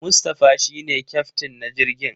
Mustapha shi ne kyaftin na jirgin.